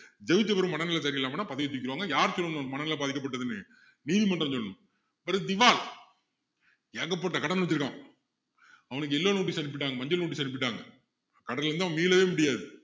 ஜெயிச்ச பிறகு மனநிலை சரியில்லாமன்னா பதவியை தூக்கிருவாங்க யாரு சொல்லணும் மனநிலை பாதிக்கப்பட்டதுன்னு நீதிமன்றம் சொல்லணும் அடுத்து திவால் ஏகப்பட்ட கடன் வச்சிருக்கான் அவனுக்கு yellow notice அனுப்பிட்டாங்க மஞ்சள் notice அனுப்பிட்டாங்க கடன்ல இருந்து அவன் மீளவே முடியாது